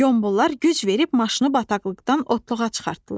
Qombollar güc verib maşını bataqlıqdan otluğa çıxartdılar.